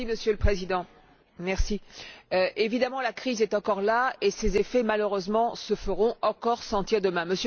Monsieur le Président, évidemment la crise est encore là et ses effets, malheureusement, se feront encore sentir demain.